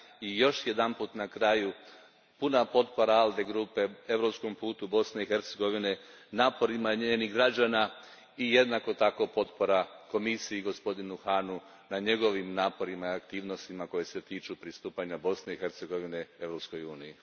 I još jedanput na kraju puna potpora ALDE grupe Europskom putu Bosne i Hercegovine, naporima njenih građana i jednako tako potpora Komisiji i gospodinu Hahnu na njegovim naporima i aktivnostima koje se tiču pristupanja Bosne i Hercegovine Europskoj uniji.